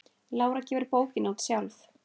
Lára gefur bókina út sjálf.